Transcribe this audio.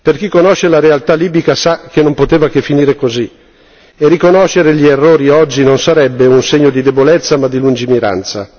Chi conosce la realtà libica sa che non poteva che finire così, e riconoscere gli errori oggi non sarebbe un segno di debolezza ma di lungimiranza.